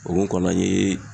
O mun kɔnɔ an ye